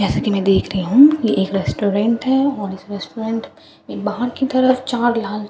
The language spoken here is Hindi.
जैसा कि मैं देख रही हूं ये एक रेस्टोरेंट है और इस रेस्टोरेंट बाहर की तरफ चार लाल--